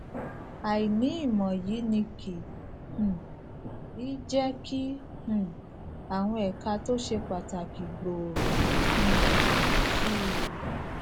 àìní ìmò yìí ni kì um í jé kí um àwọn èka tó ṣe pàtàkì gbòòrò um sí i